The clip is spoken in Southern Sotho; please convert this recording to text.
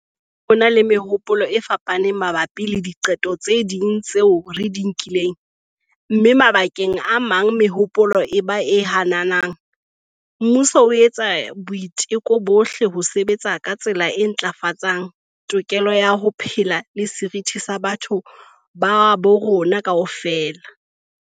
Leha ho e na le mehopolo e fapanang mabapi le diqeto tse ding tseo re di nkileng, mme mabakeng a mang mehopolo e ba e hananang, mmuso o etsa boiteko bohle ho sebetsa ka tsela e ntlafatsang tokelo ya ho phela le seriti sa batho ba bo rona kaofela.